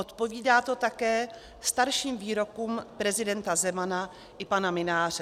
Odpovídá to také starším výrokům prezidenta Zemana i pana Mynáře.